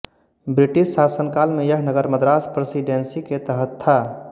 British शासनकाल में यह नगर मद्रास प्रेसिडेंसी के तहत था